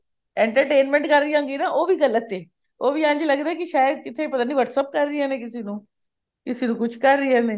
entertainment ਕਰ ਰਹੀ ਹੋਵਾਂਗੀ ਉਹ ਵੀ ਗਲਤ ਹੈ ਉਹ ਇੰਝ ਲਗਦਾ ਕੇ ਸ਼ਾਇਦ ਕਿਤੇ ਪਤਾ ਨੀ whatsapp ਕਰ ਰਹੀਆਂ ਨੇ ਕਿਸੇ ਨੂੰ ਕਿਸੇ ਨੂੰ ਕੁਛ ਰ ਰਹੀਆਂ ਨੇ